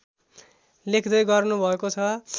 लेख्दै गर्नु भएको छ